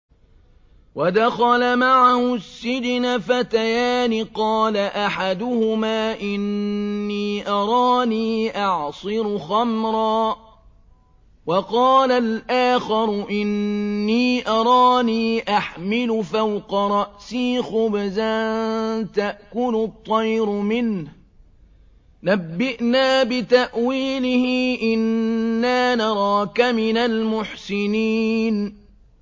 وَدَخَلَ مَعَهُ السِّجْنَ فَتَيَانِ ۖ قَالَ أَحَدُهُمَا إِنِّي أَرَانِي أَعْصِرُ خَمْرًا ۖ وَقَالَ الْآخَرُ إِنِّي أَرَانِي أَحْمِلُ فَوْقَ رَأْسِي خُبْزًا تَأْكُلُ الطَّيْرُ مِنْهُ ۖ نَبِّئْنَا بِتَأْوِيلِهِ ۖ إِنَّا نَرَاكَ مِنَ الْمُحْسِنِينَ